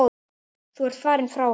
Þú ert farin frá okkur.